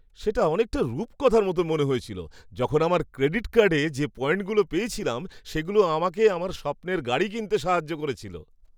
সেটা অনেকটা রূপকথার মতো মনে হয়েছিল, যখন আমার ক্রেডিট কার্ডে যে পয়েন্টগুলো পেয়েছিলাম সেগুলো আমাকে আমার স্বপ্নের গাড়ি কিনতে সাহায্য করেছিল।